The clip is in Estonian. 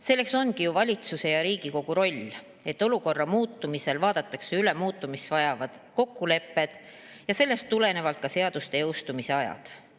Selles ongi ju valitsuse ja Riigikogu roll, et olukorra muutumisel vaadatakse üle muutmist vajavad kokkulepped ja sellest tulenevalt ka seaduste jõustumise ajad.